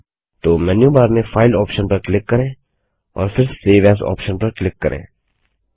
तो menu bar में file option पर क्लिक करें और फिर सेव एएस ऑप्शन पर क्लिक करें